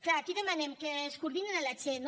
clar aquí demanem que es coordinin amb la che